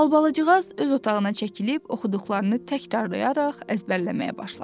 Albalıcıqaz öz otağına çəkilib, oxuduqlarını təkrarlayaraq əzbərləməyə başladı.